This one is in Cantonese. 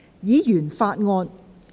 議員法案。